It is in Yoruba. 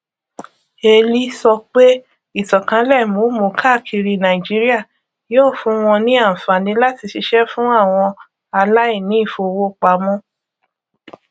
eli sọ pé ìtànkálẹ momo káàkiri nàìjíríà yóò fún wọn ní àǹfààní láti ṣiṣẹ fún àwọn aláìní ìfowópamọ